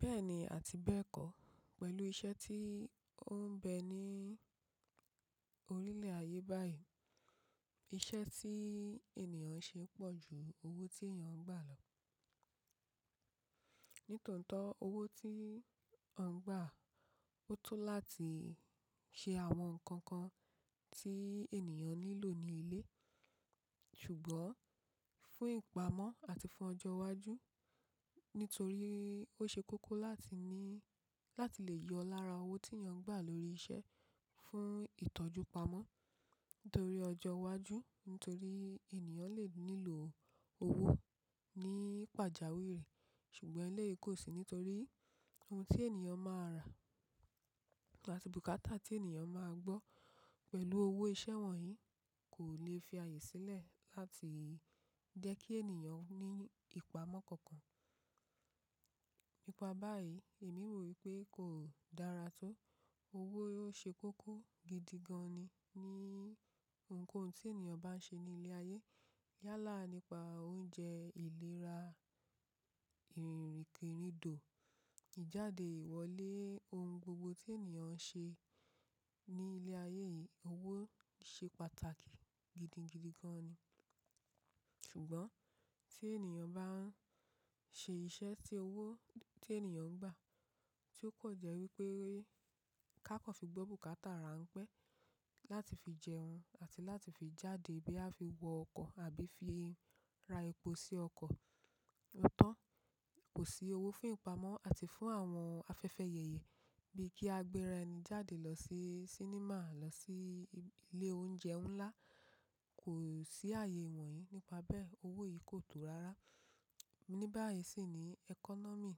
Bẹ́ẹ̀ni àti bẹ́ẹ̀kọ́, pẹ̀lú iṣẹ́ tí ó ń bẹ ní orílẹ̀ ayé báyìí, iṣẹ́ tí ènìyàn ń ṣe pọ̀ ju owó tí èèyàn ń gbà lọ. Nítòótó owó tí à ń gbà, ó tó láti ṣe àwọn nǹkan kan tí ènìyàn nílò ní ilé. Ṣùgbọ́n fún ìpamọ́ àti fún ọjọ́ iwájú, nítorí ó ṣe kókó láti ní, láti lè yọ lára owó tí èèyàn ń gbà lórí iṣẹ́ fún ìtọ́jú pamọ́ nítorí ọjọ́ iwájú, nítorí ènìyàn lè nílò owó ní pàjáwìrì, ṣùgbọ́n eléyìí kò sí nítorí ohun tí ènìyàn máa rà àti bùkátà tí ènìyàn máa gbọ́ pẹ̀lú owó iṣẹ́ wọ̀nyí kò lè fi àyè sílẹ̀ láti jẹ́ kí ènìyàn ní ìpamọ́ kankan. Nípa báyìí, èmi rò wípé kò dára tó, owó ló ṣe kókó gidi gan ni ní ohunkóhun tí ènìyàn bá ń ṣe ní ilé ayé. Yálà nípa oúnjẹ ìlera, ìrìnkèrindò, ìjáde ìwọlé, ohun gbogbo tí ènìyàn ń ṣe ní ilé ayé yìí owó ṣe pàtàkì gidi gidigan ni. Ṣùgbọ́n tí ènìyàn bá ń ṣe iṣẹ́ tí owó tí ènìyàn ń gbà, tí ó pọ̀ jẹ́ wípé ká kọ̀ fi gbọ́ bùkátà rán pẹ́ láti fi jẹun àti láti fi jáde bí a fi wọ ọkọ̀ àbí fi ra epo sí ọkọ̀. Òótọ́ kò sí owó fún ìpamọ́ àti fún àwọn afẹ́fẹ́ yèyè bíi kí a gbé ara ẹni jáde lọ sí sínímà, lọ sí ilé oúnjẹ ńlá, kò sí àyè wọ̀nyí. Nípa bẹ́ẹ̀ owó yìí kò tó rárá. Ní báyìí sì ni economy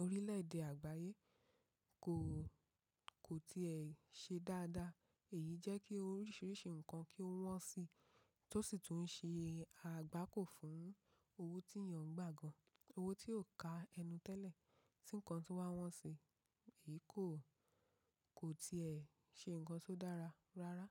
orílẹ̀èdè àgbáyé kò, kò tiẹ̀ ṣe dáadáa. Èyí jẹ́ kí oríṣiríṣi nǹkan kí ó wọ́n si tó sì tún ṣe àgbákò fún owó tí èèyàn ń gbà gan, owó tí ò ka ẹnu tẹ́lẹ̀ tí nǹkan tó wá wọ́n si, èyí kò, kò tiẹ̀ ṣe nǹkan tó dára rárá.